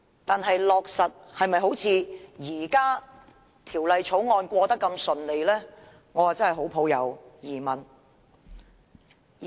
但是，在落實時是否好像通過《條例草案》來得那麼順利，我真的抱有很大疑問。